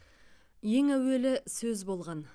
ең әуелі сөз болған